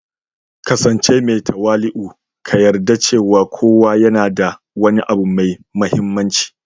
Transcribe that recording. ƙasance mai tawali'u, ka yarda cewa kowa yana da wani abu mai mahimmanci